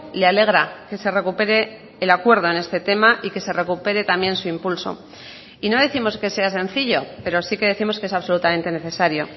le alegra que se recupere el acuerdo en este tema y que se recupere también su impulso y no décimos que sea sencillo pero sí que décimos que es absolutamente necesario